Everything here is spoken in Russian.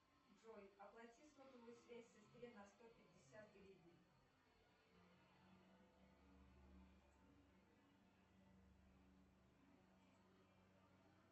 джой оплати сотовую связь сестре на сто пятьдесят гривен